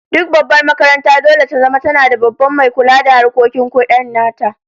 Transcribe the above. Duk babbar makaranta dole ta zama tana da Babban mai kula da harkokin kudi nata